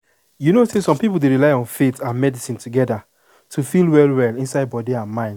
you know some people dey rely on faith and and medicine together to feel well-well inside body and mind.